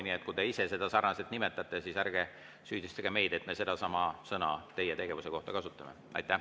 Nii et kui te ise seda sarnaselt nimetate, siis ärge süüdistage meid, et me sedasama sõna teie tegevuse kohta kasutame.